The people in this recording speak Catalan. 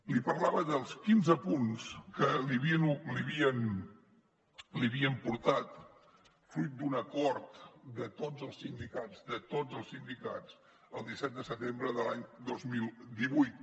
li parlava dels quinze punts que li havien portat fruit d’un acord de tots els sindicats el disset de setembre de l’any dos mil divuit